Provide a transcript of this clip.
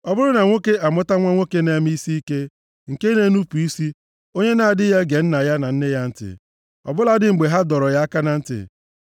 Ọ bụrụ na nwoke amụta nwa nwoke na-eme isiike, nke na-enupu isi, onye na-adịghị ege nna ya na nne ya ntị, ọ bụladị mgbe ha dọrọ ya aka na ntị.